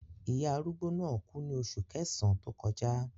Ìyá arúgbó náà kú ní oṣù kẹsàn-án tó kọjá.